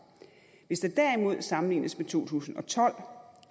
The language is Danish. hvis der derimod sammenlignes med to tusind og tolv